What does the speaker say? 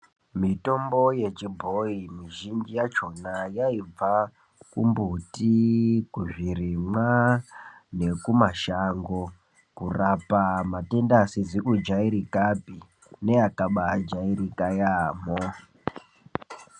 Mitombo yechibhoyi mizhinji yachona yaibva kumbuti, kuzvirimwa, nekumashango, kurapa matenda asizi kujairikapi neakabaajairika yaamho.